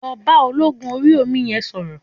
Lọ bá ológun Orí omi yẹn sọ̀rọ̀.